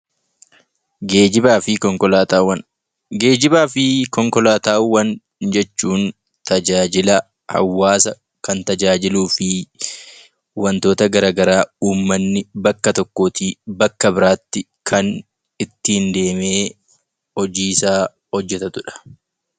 Geejjibaa fi konkolaataawwan Geejjibaa fi konkolaataawwan jechuun tajaajila hawaasa kan tajaajiluu fi wantoota gara garaa uummanni bakka tokkoo tii bakka biraa tti kan ittiin deemee hojii isaa hojjetatu dha.